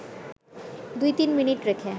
২-৩ minute রেখে